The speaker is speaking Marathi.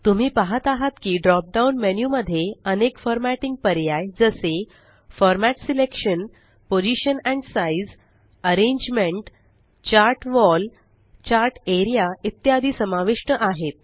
तुम्ही पाहत आहात की ड्रॉप डाउन मेन्यु मध्ये अनेक फॉर्मेटिंग पर्याय जसे format selection position and size arrangement chart wall chart A R E A इत्यादी समाविष्ट आहेत